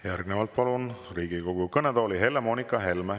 Järgnevalt palun Riigikogu kõnetooli Helle-Moonika Helme.